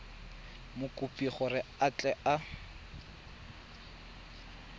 mokopi gore a tle a